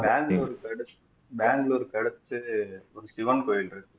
பெங்களூருக்கு அடுத் பெங்களூருக்கு அடுத்து ஒரு சிவன் கோவில் இருக்கு